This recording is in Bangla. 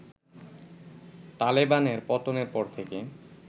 তালেবানের পতনের পর থেকে